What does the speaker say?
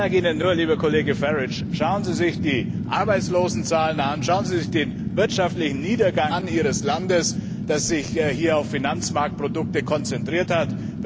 Ich sage Ihnen nur, lieber Kollege Farrage, schauen Sie sich die Arbeitslosenzahlen an, schauen Sie sich den wirtschaftlichen Niedergang Ihres Landes an, das sich auf Finanzmarktprodukte konzentriert hat!